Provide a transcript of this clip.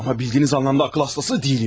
Amma bildiyiniz anlamda ağıl hastası deyilim!